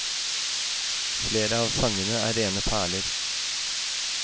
Flere av sangene er rene perler.